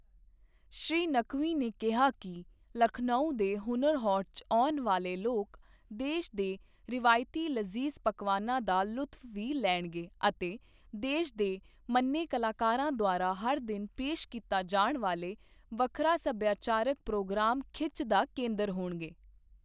ਸ਼੍ਰੀ ਨਕਵੀ ਨੇ ਕਿਹਾ ਕਿ ਲਖਨਊ ਦੇ ਹੁਨਰ ਹਾਟ 'ਚ ਆਉਣ ਵਾਲੇ ਲੋਕ ਦੇਸ਼ ਦੇ ਰਵਾਇਤੀ ਲਜੀਜ਼ ਪਕਵਾਨਾਂ ਦਾ ਲੁਤਫ਼ ਵੀ ਲੈਣਗੇ ਅਤੇ ਦੇਸ਼ ਦੇ ਮੰਨੇ ਕਲਾਕਾਰਾਂ ਦੁਆਰਾ ਹਰ ਦਿਨ ਪੇਸ਼ ਕੀਤਾ ਜਾਣ ਵਾਲੇ ਵੱਖਰਾ ਸਭਿਆਚਾਰਕ ਪ੍ਰੋਗਰਾਮ ਖਿੱਚ ਦਾ ਕੇਂਦਰ ਹੋਣਗੇ।